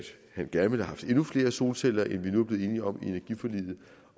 han gerne ville have haft endnu flere solceller end vi nu er blevet enige om i energiforliget